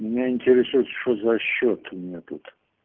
меня интересует что за счёт у меня тут